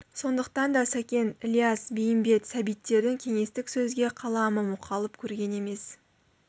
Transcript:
сондықтан да сәкен ілияс бейімбет сәбиттердің кеңестік сөзге қаламы мұқалып көрген емес